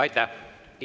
Aitäh!